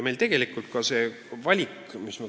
Meil tegelikult oli valik ees.